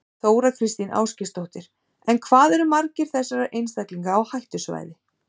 Þóra Kristín Ásgeirsdóttir: En hvað eru margir þessara einstaklinga á hættusvæði?